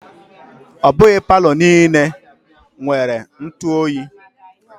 Ọ bụghị Palọ niile nwere ntụ oyi.